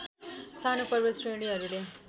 सानो पर्वत श्रेणीहरूले